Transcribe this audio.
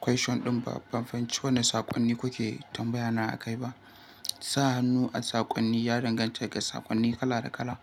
question ɗin ba. Ban fahimci wane saƙonni kuke tambaya na a kai ba. Sa hannu a saƙonni ya danganta daga saƙonni kala da kala.